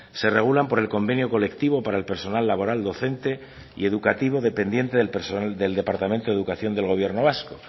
se regulan por el convenio colectivo para el personal laboral docente y educativo dependiente del personal del departamento de educación del gobierno vasco